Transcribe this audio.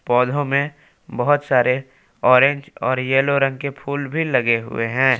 पौधों में बहुत सारे ऑरेंज और येलो रंग के फूल भी लगे हुवे हैं।